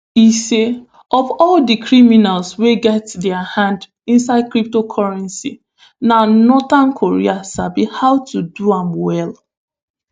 e say of all di criminals wey get dia hands inside crypto currency na north korea sabi how to do am well